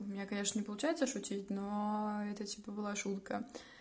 у меня конечно не получается шутить но это типа была шутка